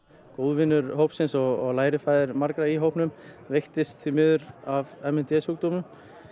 góðvinur hópsins og lærifaðir margra í hópnum veiktist því miður af m n d sjúkdómnum